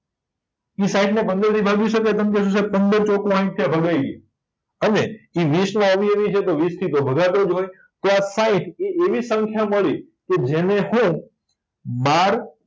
ઇ સાઈઠને પંદરથી ભાગી શકાય પંદર ચોકુ સાઈઠ થયા ભગાય ગયા અને ઇ વીસના તો વીસથીતો ભગાતોજ હોય તો આ સાઈઠ એવી સંખ્યા મળી કે જેને હું બાર